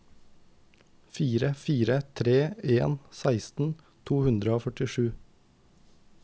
fire fire tre en seksten to hundre og førtisju